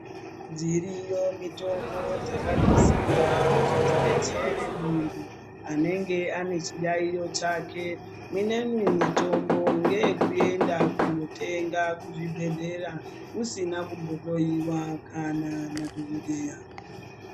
Dziriyo mitombo dzakanasirwa kuti dzidetsere muntu anenge ane chiyayiyo chake minemwi mitombo ngeekuenda kunotenga kuzvibhedhleya usina kumbo hloiwa kana nadhokodheya.